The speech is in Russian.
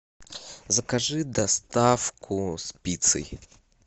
закажи доставку с пиццей